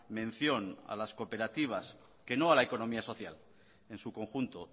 mención a las cooperativas que no a la económica social en su conjunto